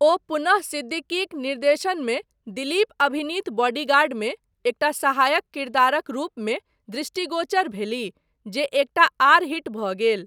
ओ पुनः सिद्दीकीक निर्देशनमे दिलीप अभिनीत बॉडीगार्डमे एकटा सहायक किरदारक रूपमे दृष्टिगोचर भेलीह, जे एकटा आर हिट भऽ गेल।